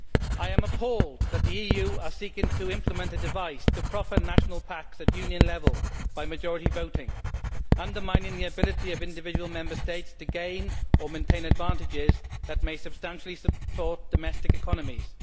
I am appalled that the EU is seeking to implement a device to proffer national packages at Union level by majority voting, undermining the ability of individual Member States to gain or maintain advantages that may substantially support domestic economies.